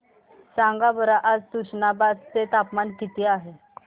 सांगा बरं आज तुष्णाबाद चे तापमान किती आहे